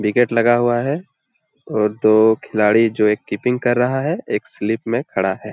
Wicket लगा हुआ है और दो खिलाड़ी जो एक कीपिंग कर रहा है एक स्लिप में खड़ा हैं।